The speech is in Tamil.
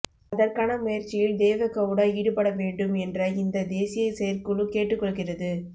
அதற்கான முயற்சியில் தேவெகெளடா ஈடுபட வேண்டும் என்ற இந்த தேசிய செயற்குழு கேட்டுக்கொள்கிறது